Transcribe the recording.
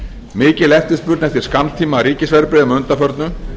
mikil eftirspurn eftir skammtíma ríkisverðbréfum að undanförnu